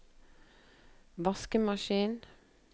vaskemaskin